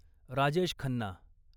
Rajesh Khanna